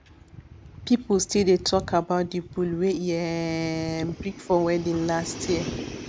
people still dey talk about the bull wey e um bring for wedding last year